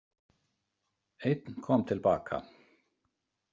Einn kom til baka.